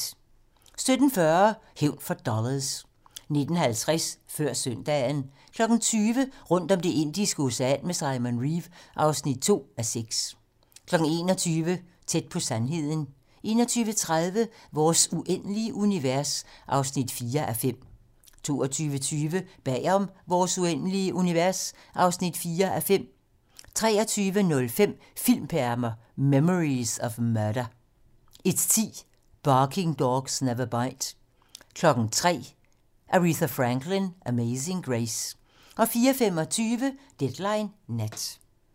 17:40: Hævn for dollars 19:50: Før søndagen 20:00: Rundt om Det indiske Ocean med Simon Reeve (2:6) 21:00: Tæt på sandheden 21:30: Vores uendelige univers (4:5) 22:20: Bag om Vores uendelige univers (4:5) 23:05: Filmperler: Memories of Murder 01:10: Barking Dogs Never Bite 03:00: Aretha Franklin: Amazing Grace 04:25: Deadline nat